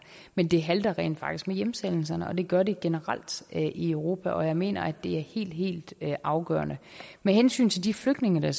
men det halter rent faktisk med hjemsendelserne det gør det generelt i europa og jeg mener det er helt helt afgørende med hensyn til de flygtninge der